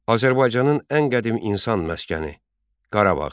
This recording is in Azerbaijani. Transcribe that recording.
Azərbaycanın ən qədim insan məskəni Qarabağ.